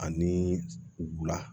Ani wula